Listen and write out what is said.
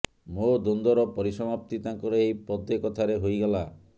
ମୋ ଦ୍ୱନ୍ଦର ପରିସମାପ୍ତି ତାଙ୍କର ଏହି ପଦେ କଥାରେ ହେଇଗଲା